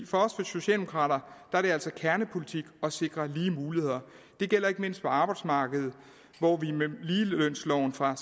for os socialdemokrater kernepolitik at sikre lige muligheder det gælder ikke mindst på arbejdsmarkedet hvor vi med ligelønsloven fra